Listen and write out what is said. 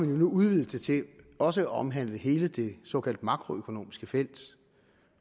jo nu udvidet det til også at omhandle hele det såkaldt makroøkonomiske felt